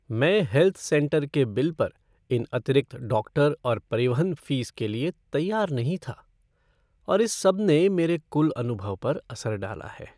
मैं health centre के bill पर इन अतिरिक्त डॉक्टर और परिवहन फ़ीस के लिए तैयार नहीं था, और इस सबने मेरे कुल अनुभव पर असर डाला है।